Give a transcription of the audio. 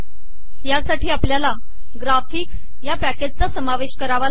यासाठी आपल्याला ग्राफिक्स या पॅकेजच समाविष्ट करावे लागेल